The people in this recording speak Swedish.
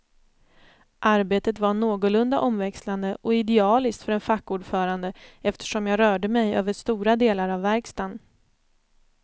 Arbetet var någorlunda omväxlande och idealiskt för en fackordförande, eftersom jag rörde mig över stora delar av verkstaden.